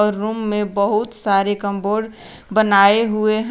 Room में बहुत सारे कंबोर्ड बनाए हुए हैं।